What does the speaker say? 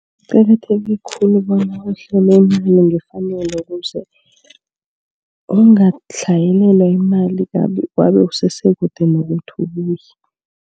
Kuqakatheke khulu bona uhlome imali ngefanelo. Ukuze angatlhayelelwa yimali kandi usesekude nokuthi ubuye.